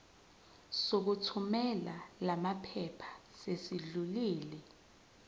sokuthumela lamaphepha sesidlulile